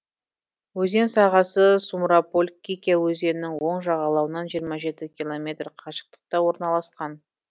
өзен сағасы сумраполь кикя өзенінің оң жағалауынан жиырма жеті километр қашықтықта орналасқан